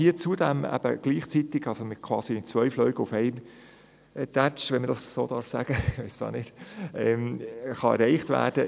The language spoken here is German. Hier können zudem zwei Fliegen auf einen Streich erledigt werden.